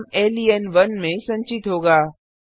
परिणाम लेन1 में संचित होगा